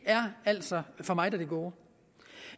er altså for meget af det gode